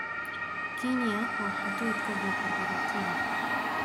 Quinoa waa hadhuudh ka buuxa borotiin.